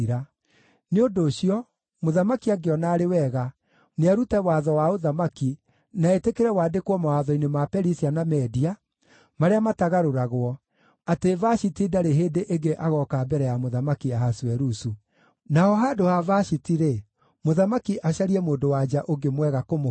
“Nĩ ũndũ ũcio, mũthamaki angĩona arĩ wega, nĩarute watho wa ũthamaki na etĩkĩre wandĩkwo mawatho-inĩ ma Perisia na Media, marĩa matagarũragwo, atĩ Vashiti ndarĩ hĩndĩ ĩngĩ agooka mbere ya Mũthamaki Ahasuerusu. Naho handũ ha Vashiti-rĩ, mũthamaki acarie mũndũ-wa-nja ũngĩ mwega kũmũkĩra.